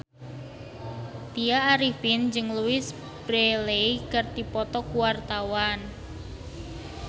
Tya Arifin jeung Louise Brealey keur dipoto ku wartawan